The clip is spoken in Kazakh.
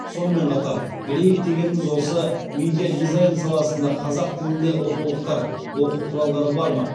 сонымен қатар білейік дегеніміз осы медиадизайн саласында қазақ тілінде оқулықтар оқу құралдары бар ма